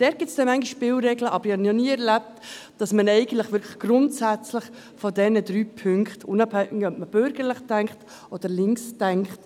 – Dort gibt es manchmal Spielregeln, aber ich habe es eigentlich noch nie erlebt, dass man wirklich grundsätzlich von diesen drei Punkten abweicht, unabhängig davon, ob man bürgerlich oder links denkt.